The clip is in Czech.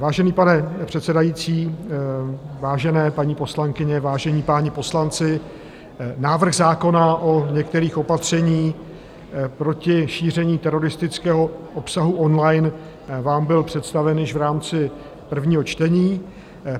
Vážený pane předsedající, vážené paní poslankyně, vážení páni poslanci, návrh zákona o některých opatřeních proti šíření teroristického obsahu online vám byl představen již v rámci prvního čtení.